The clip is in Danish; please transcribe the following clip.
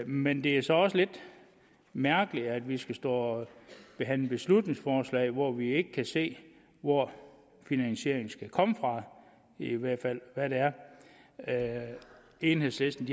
men det er så også lidt mærkeligt at vi skal stå og behandle beslutningsforslag hvor vi ikke kan se hvor finansieringen skal komme fra i hvert fald hvad det er enhedslisten